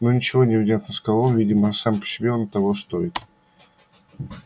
ну ничего невнятно сказал он видимо сам себе оно того стоит